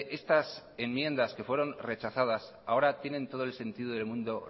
estas enmiendas que fueran rechazadas ahora tienen todo el sentido del mundo